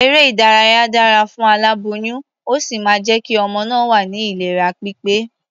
Eré-ìdárayá dára fún aláboyún, ó sì máa jẹ́ kí ọmọ náà wà ní ìlera pípé.